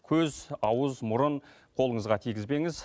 көз ауыз мұрын қолыңызға тигізбеңіз